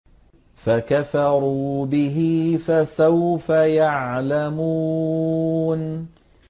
فَكَفَرُوا بِهِ ۖ فَسَوْفَ يَعْلَمُونَ